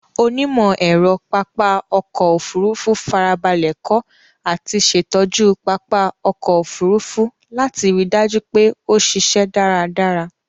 Onímọ̀-ẹ̀rọ pápá ọkọ̀ Òfurufú farabalẹ̀ kọ́ àti ṣẹ̀tọ́jú pápá ọkọ̀ Òfurufú láti ri dájú pé ó ṣíṣẹ́ dáradára.